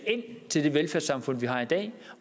til det velfærdssamfund vi har i dag